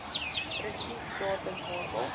presies datum waarop